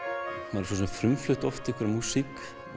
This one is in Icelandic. maður hefur frumflutt oft músík